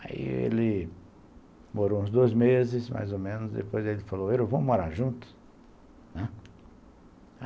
Aí ele morou uns dois meses, mais ou menos, depois ele falou, vamos morar junto, né.